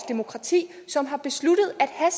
demokrati som har besluttet at hash